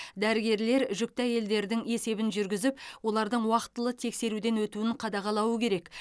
дәрігерлер жүкті әйелдердің есебін жүргізіп олардың уақытылы тексеруден өтуін қадағалауы керек